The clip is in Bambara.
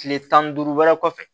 Tile tan ni duuru wɛrɛ kɔfɛ